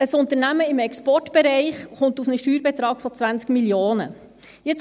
Ein Unternehmen im Exportbereich kommt auf einen Steuerbetrag von 20 Mio. Franken.